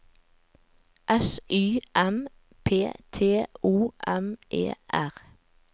S Y M P T O M E R